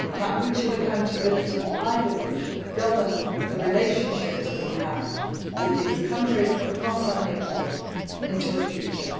and that mutual accountability should, I believe, govern the relationship we have with these countries across our neighbourhood into the future.